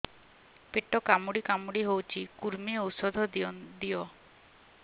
ପେଟ କାମୁଡି କାମୁଡି ହଉଚି କୂର୍ମୀ ଔଷଧ ଦିଅ